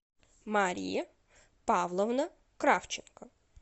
мария павловна кравченко